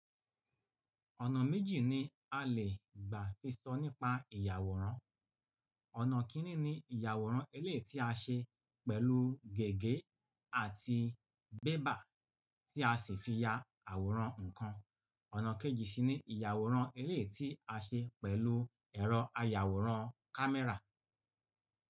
Ọ̀nà méjì ni a lè gbà fi sọ nípa ìyàwòrán. Ọ̀nà kini ni ìyàwòrán elé ti a ṣe pẹ̀lú gègé àti bébà tí a sì fi ya àwòrán ǹkan. Ọ̀nà kẹ́jì sì ni ìyàwòrán elé ti a ṣe pẹ̀lú ẹ̀rọ ayàwòrán kámẹ́rà.